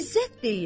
İzzət deyir: